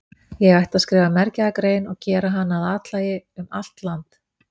Ég ætti að skrifa mergjaða grein og gera hana að athlægi um allt land.